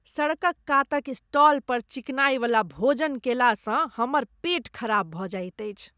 सड़कक कातक स्टाल पर चिकनाइवला भोजन कयलासँ हमर पेट खराब भऽ जाइत अछि।